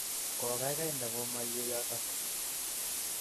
Gogaigai ndakimaiwe yotok.